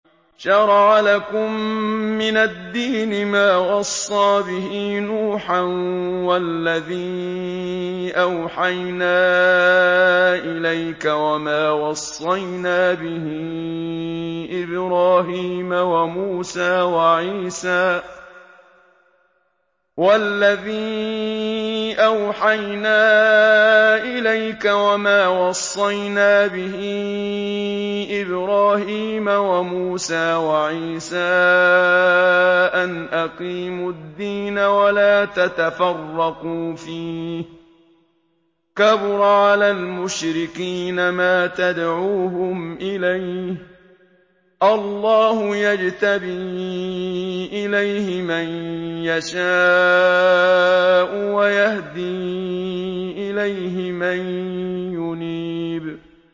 ۞ شَرَعَ لَكُم مِّنَ الدِّينِ مَا وَصَّىٰ بِهِ نُوحًا وَالَّذِي أَوْحَيْنَا إِلَيْكَ وَمَا وَصَّيْنَا بِهِ إِبْرَاهِيمَ وَمُوسَىٰ وَعِيسَىٰ ۖ أَنْ أَقِيمُوا الدِّينَ وَلَا تَتَفَرَّقُوا فِيهِ ۚ كَبُرَ عَلَى الْمُشْرِكِينَ مَا تَدْعُوهُمْ إِلَيْهِ ۚ اللَّهُ يَجْتَبِي إِلَيْهِ مَن يَشَاءُ وَيَهْدِي إِلَيْهِ مَن يُنِيبُ